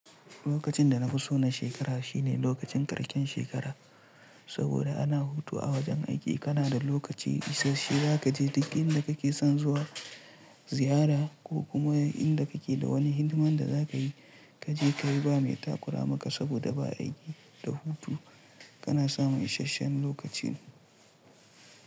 Lokacin da na fi so na shekara shine lokacin ƙarshen shekara, saboda ana hutu a wajen aiki, kana da lokaci isashshe za ka je duk inda ka ke son zuwa ziyara ko kuma inda ka ke da wani hidiman da za ka yi ka je ka yi ba mai takura maka saboda ba'a aiki da hutu. Kana samun isashshen lokaci.